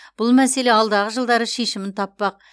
бұл мәселе алдағы жылдары шешімін таппақ